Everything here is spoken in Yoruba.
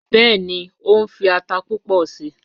Bẹẹni, o nfi ata pupọ sii